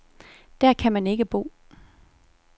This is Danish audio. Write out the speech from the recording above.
Der kan man ikke bo.